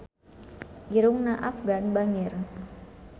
Irungna Afgan bangir